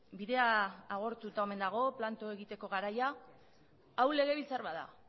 bidea agortuta omen dago planto egiteko garaia hau legebiltzar bat da